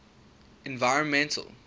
environmental